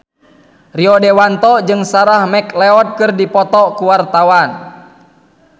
Rio Dewanto jeung Sarah McLeod keur dipoto ku wartawan